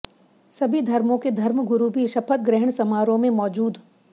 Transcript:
सभी धर्मों के धर्म गुरू भी शपथ ग्रहण समारोह में मौजूद